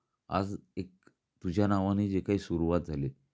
आज एक तुझ्या नावाने जे काही सुरुवात झाली.